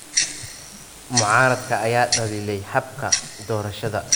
Mucaaradka ayaa dhaliilay habka doorashada